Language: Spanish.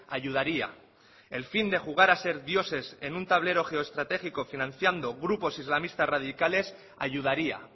ayudaría el fin de jugar a ser dioses en un tablero geoestratégico financiando grupos islamistas radicales ayudaría